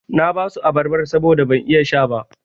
Na basu abarban saboda ban iya sha ba.